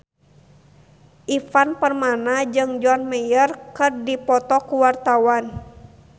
Ivan Permana jeung John Mayer keur dipoto ku wartawan